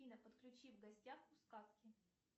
афина подключи в гостях у сказки